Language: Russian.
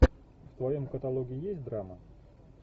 в твоем каталоге есть драма